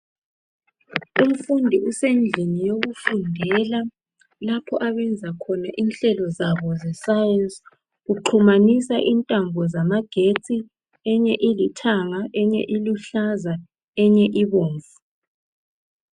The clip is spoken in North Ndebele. Umfundi usendlini yokufundela lapho abenza khona inhlelo zabo zeScience. Uxhumanisa intambo zabo zamagetsi. Enye ilithanga. Enye iluhlaza, Enye ibomvu,